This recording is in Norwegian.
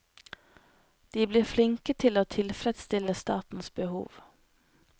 De blir flinke til å tilfredsstille statens behov.